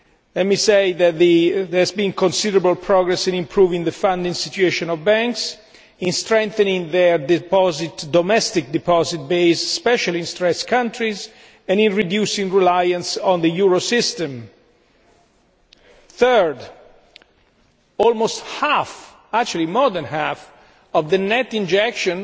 Let me say that there has been considerable progress in improving the funding situation of banks, in strengthening their domestic deposit base especially in stressed countries and in reducing reliance on the euro system. Thirdly, almost half actually more than half of the net injection